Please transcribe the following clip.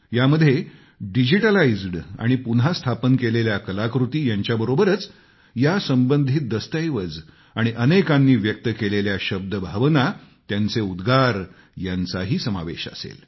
यामध्ये डिजिटलाइज्ड आणि पुन्हा स्थापन केलेल्या कलाकृती यांच्या बरोबरच यासंबंधित दस्तऐवज आाणि अनेकांनी व्यक्त केलेल्या शब्दभावना त्यांचे उद्गार यांचाही समावेश असेल